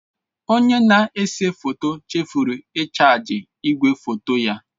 Onye na-ese foto chefuru ịchaji igwefoto ya.